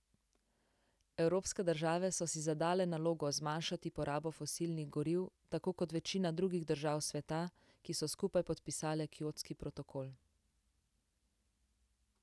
Evropske države so si zadale nalogo zmanjšati porabo fosilnih goriv, tako kot večina drugih držav sveta, ki so skupaj podpisale Kjotski protokol.